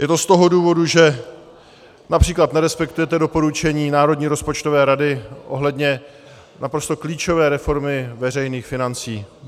Je to z toho důvodu, že například nerespektujete doporučení Národní rozpočtové rady ohledně naprosto klíčové reformy veřejných financí.